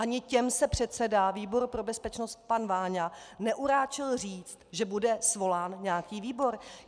Ani těm se předseda výboru pro bezpečnosti pan Váňa neuráčil říct, že bude svolán nějaký výbor.